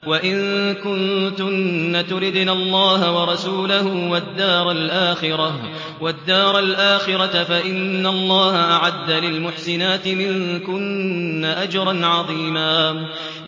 وَإِن كُنتُنَّ تُرِدْنَ اللَّهَ وَرَسُولَهُ وَالدَّارَ الْآخِرَةَ فَإِنَّ اللَّهَ أَعَدَّ لِلْمُحْسِنَاتِ مِنكُنَّ أَجْرًا عَظِيمًا